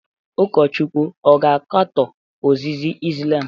Ụkọchukwu ọ ga-akatọ ozizi Islam?